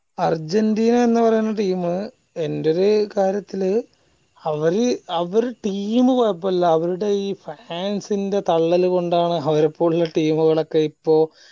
Argentina പറയ്ന്ന team എന്റെ ഒര്കാര്യത്തില് അവര് അവര് team കോഴപ്പുള്ള അവരുടെ ഈ fans ന്റെ തള്ളല് കൊണ്ടാണ് അവരെ പോലുള്ള team കളെ ഇപ്പൊ